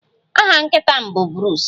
Aha nkịta m bụ Bruce